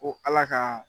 Ko ala ka